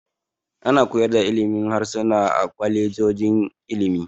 Ana koyar da ilimin harsuna a kwalejojin ilimi.